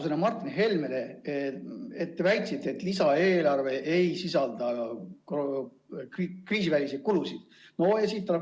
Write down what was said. Sain Martin Helmele antud vastusest aru, et teie väite kohaselt lisaeelarve ei sisalda kriisiväliseid kulusid.